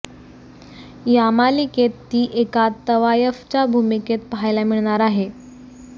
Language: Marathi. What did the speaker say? या मालिकेत ती एका तवायफच्या भूमिकेत पाहायला मिळणार आहे